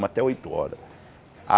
até oito horas.